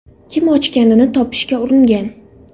Kim ochganini topishga uringan.